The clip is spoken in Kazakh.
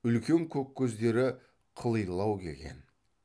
үлкен көк көздері қылилау келген